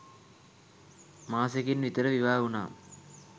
මාසෙකින් විතර විවාහ වුණා.